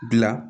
Gila